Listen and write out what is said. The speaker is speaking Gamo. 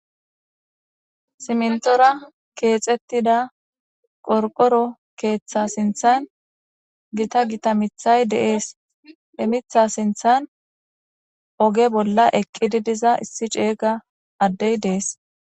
simntora keexettida qorqoro keeththa sinthan gita gita mithay deees emitha sinthan oge bolla ekkidi diza issi ceeyga addey deees